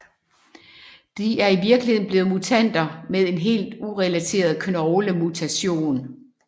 De er i virkeligheden blot mutanter med en helt urelateret knoglemutation